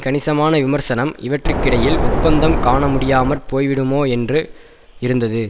கணிசமான விமர்சனம் இவற்றிற்கிடையில் ஒப்பந்தம் காணமுடியாமற் போய்விடுமோ என்று இருந்தது